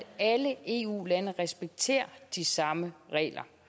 alle eu lande respekterer de samme regler